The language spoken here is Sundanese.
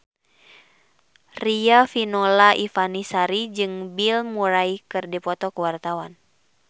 Riafinola Ifani Sari jeung Bill Murray keur dipoto ku wartawan